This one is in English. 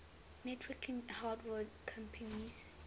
networking hardware companies